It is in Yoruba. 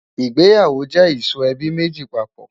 ìgbéyàwó jẹ ìsọ ẹbí méjì papọ̀